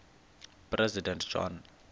president john